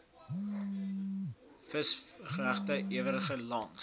visvangregte eweredig langs